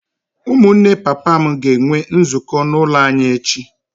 Ụmụnne papa m ga-enwe nzukọ n’ụlọ anyị echi.